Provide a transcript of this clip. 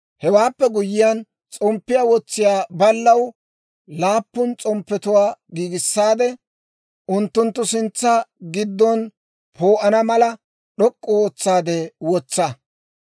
«Hewaappe guyyiyaan s'omppiyaa wotsiyaa baallaw laappun s'omppetuwaa giigissaade, unttunttu sintsa giddow poo'ana mala d'ok'k'u ootsaadde wotsa.